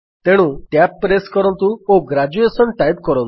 ତେଣୁ tab press କରନ୍ତୁ ଓ ଗ୍ରେଜୁଏସନ୍ ଟାଇପ୍ କରନ୍ତୁ